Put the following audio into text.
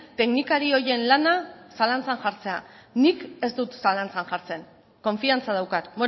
teknikari horien lana zalantzan jartzea nik ez dut zalantzan jartzen konfiantza daukat